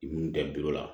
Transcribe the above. Minnu tɛ bilo la